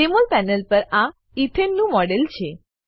જેમોલ panel પર આ ethane નું મોડેલ છે